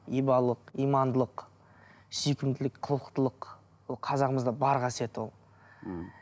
ибалық имандылық сүйкімділік қылықтылық ол қазағымызда бар қасиет ол мхм